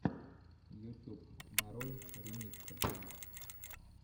ютюб нарой ремиксы